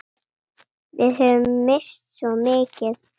Við höfum misst svo mikið.